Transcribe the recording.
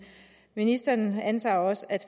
ministeren antager også at